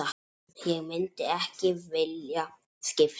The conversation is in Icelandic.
Ég myndi ekki vilja skipta.